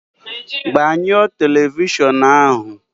Gbanyụọ telivishọn ahụ!